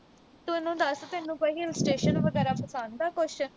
ਤੂੰ ਮੈਨੂੰ ਦੱਸ। ਤੈਨੂੰ ਕੋਈ hill station ਵਗੈਰਾ ਪਸੰਦ ਆ ਕੁਸ਼।